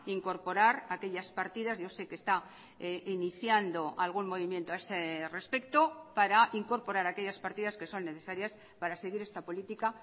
incorporar aquellas partidas yo sé que está iniciando algún movimiento a ese respecto para incorporar aquellas partidas que son necesarias para seguir esta política